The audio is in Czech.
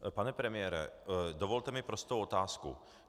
Pane premiére, dovolte mi prostou otázku.